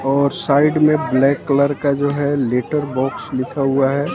और साइड में black colour का जो है लेटर बॉक्स लिखा हुआ है।